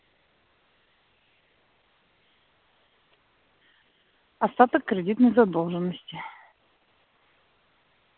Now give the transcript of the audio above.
остаток кредитной задолженности